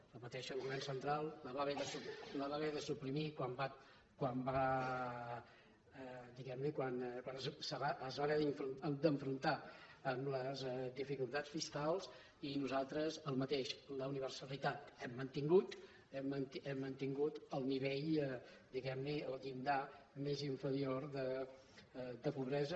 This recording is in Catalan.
ho repeteixo el govern central la va haver de suprimir quan diguem ne es va enfrontar amb les dificultats fiscals i nosaltres el mateix la universalitat hem mantingut el nivell diguem li el llindar més inferior de pobresa